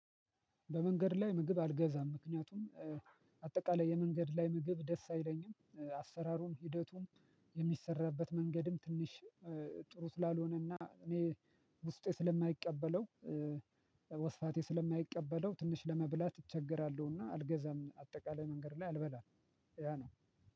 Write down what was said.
በመንገድ ላይ ምግብ አልገዛም። ምክንያቱም አጠቃላይ የመንገድ ላይ ምግብ ደስ አይለኝም አሰራሩም፣ ሂደቱም፣ የምሚሰራበት መንገድም፣ ትንሽ ጥሩ ስላልሆነና እኔ ውስጤ ስለማይቀበለው ወስፋቴ ስለማይቀበለው ትንሽ ለመብላት እቸገራለሁ እና አልገዛም። አጠቃላይ መንገድ ላይ አልበላም። ያ ነው